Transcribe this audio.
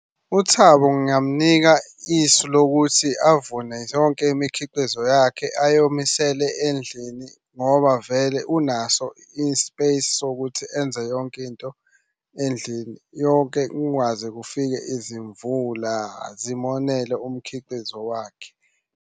UThabo ngingamunika isu lokuthi avune yonke imikhiqizo yakhe ayomisele endlini ngoba vele unaso i-space sokuthi enze yonke into endlini. Yonke kungaze kufike izimvula zimonele umkhiqizo wakhe.